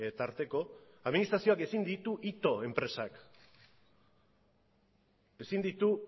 tarteko administrazioak ezin ditu ito enpresak ezin ditu